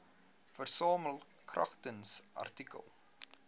versamel kragtens artikel